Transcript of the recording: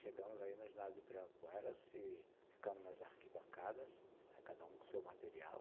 Chegamos aí no ginásio do Ibirapuera, se, ficamos nas arquibancadas, né, cada um com seu material.